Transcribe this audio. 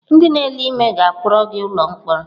Ndị na-ele ime ga-akpọrọ gị n'ụlọ mkpọrọ.